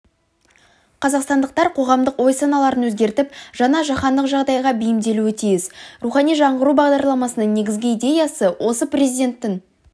қазақстандықтар қоғамдық ой-саналырын өзгертіп жаңа жаһандық жағдайға бейімделуі тиіс рухани жаңғыру бағдарламасының негізгі идеясы осы президенттің